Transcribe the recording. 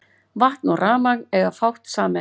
Vatn og rafmagn eiga fátt sameiginlegt.